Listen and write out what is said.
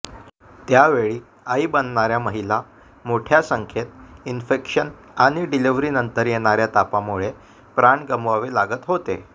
त्यावेळी आई बनणाऱ्या महिला मोठ्या संख्येत इंफेक्शन आणि डिलिव्हरीनंतर येणाऱ्या तापामुळे प्राण गमवावे लागत होते